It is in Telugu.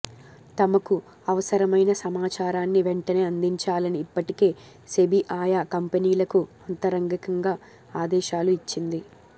తమకు అవసరమైన సమాచారాన్ని వెంటనే అందించాలని ఇప్పటికే సెబి ఆయా కంపెనీలకు అంతరంగికంగా ఆదేశాలు ఇచ్చింది